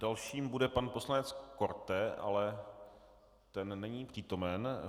Dalším bude pan poslanec Korte, ale ten není přítomen.